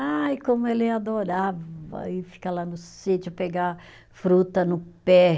Ai, como ele adorava ir ficar lá no sítio, pegar fruta no pé.